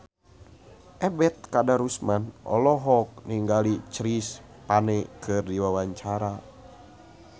Ebet Kadarusman olohok ningali Chris Pane keur diwawancara